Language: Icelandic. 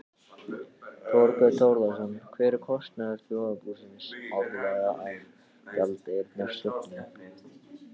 Þorbjörn Þórðarson: Hver er kostnaður þjóðarbúsins árlega af gjaldeyrishöftum?